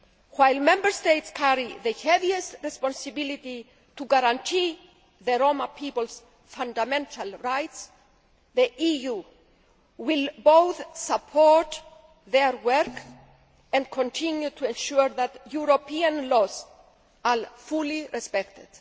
While Member States carry the heaviest responsibility to guarantee the Roma people's fundamental rights, the EU will both support their work and continue to ensure that European laws are fully respected.